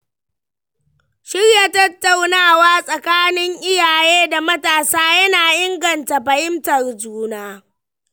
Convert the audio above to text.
Shirya tattaunawa tsakanin iyaye da matasa yana inganta fahimtar juna.